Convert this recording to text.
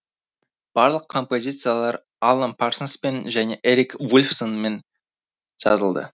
барлық композициялар алан парсонспен және эрик вульфсонмен жазылды